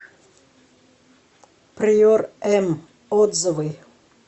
приор м отзывы